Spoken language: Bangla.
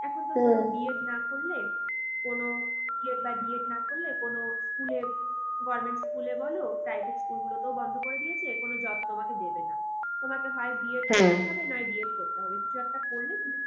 এখন বি এড না করলে কোনো বিএড বা ডিএড না করলে কোনো school এ government school এ বলো private school গুলোতেও বন্ধ করে দিয়েছে। কোনো job তোমাকে দেবে না। তোমাকে হয় করতে হবে না হয় ডিএ করতে হবে। কিছু একটা করলে তুমি